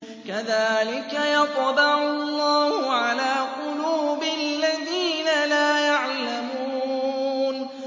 كَذَٰلِكَ يَطْبَعُ اللَّهُ عَلَىٰ قُلُوبِ الَّذِينَ لَا يَعْلَمُونَ